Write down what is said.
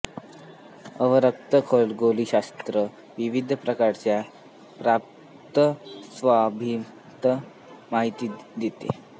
अवरक्त खगोलशास्त्र विविध प्रकाराच्या प्रार्न्न स्म्भातीत माहिती देतें